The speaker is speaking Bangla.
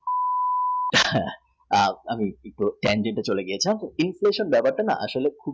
আমার উত্তর ছিল চলে গেছিলাম তো inflation ব্যাপারটা আসলে